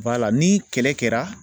ni kɛlɛ kɛra